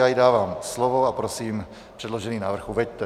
Já jí dávám slovo a prosím, předložený návrh uveďte.